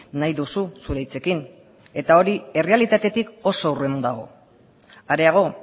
nahi duzu zure hitzekin eta hori errealitatetik oso urrun dago areago